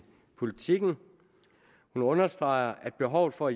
politiken hun understreger at behovet for